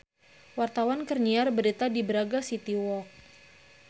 Wartawan keur nyiar berita di Braga City Walk